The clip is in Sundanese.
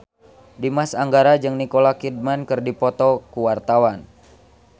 Dimas Anggara jeung Nicole Kidman keur dipoto ku wartawan